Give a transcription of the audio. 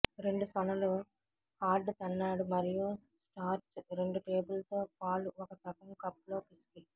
రెండు సొనలు హార్డ్ తన్నాడు మరియు స్టార్చ్ రెండు టేబుల్ తో పాలు ఒక సగం కప్ లో పిసికి